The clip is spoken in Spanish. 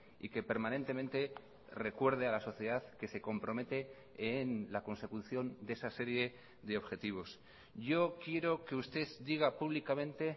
y que permanentemente recuerde a la sociedad que se compromete en la consecución de esa serie de objetivos yo quiero que usted diga públicamente